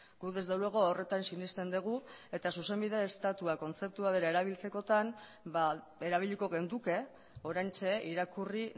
gu desde luego horretan sinesten dugu eta zuzenbide estatua kontzeptua bera erabiltzekotan erabiliko genuke oraintxe irakurri